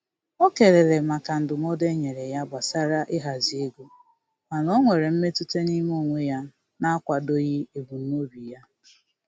O kelere maka ndụmọdụ e nyere ya gbasara ịhazi ego, mana o nwere mmetụta n'ime onwe ya na-akwadoghị ebumnobi ya.